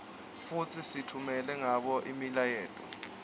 futsi sitfumela ngabo imiyaleto